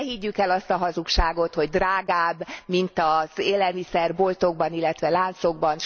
Ne higgyük el azt a hazugságot, hogy drágább, mint az élelmiszerboltokban, illetve láncokban.